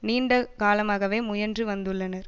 நீண்ட காலமாகவே முயன்று வந்துள்ளனர்